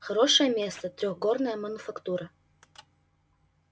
хорошее место трёхгорная мануфактура